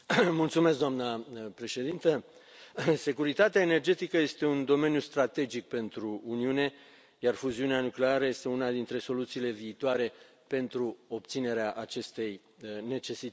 Doamna președintă, securitatea energetică este un domeniu strategic pentru Uniune, iar fuziunea nucleară este una dintre soluțiile viitoare pentru obținerea acestei necesități.